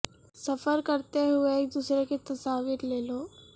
سفر کرتے وقت ایک دوسرے کی تصاویر لے لو